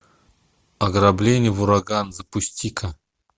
ограбление в ураган запусти ка